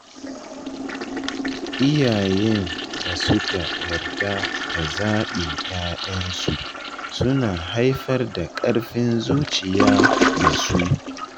Iyayen da suka yarda da zaɓin ‘ya’yansu suna haifar da ƙarfin zuciya ga su.